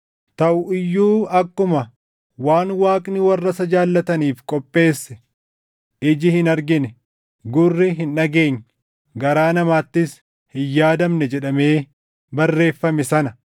Taʼu iyyuu akkuma, “Waan Waaqni warra isa jaallataniif qopheesse iji hin argine, gurri hin dhageenye, garaa namaattis hin yaadamne” + 2:9 \+xt Isa 64:4\+xt* jedhamee barreeffame sana,